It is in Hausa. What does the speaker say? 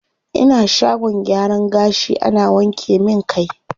Ina shagon gyaran gashi ana wanke min kai.